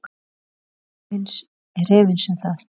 María er efins um það.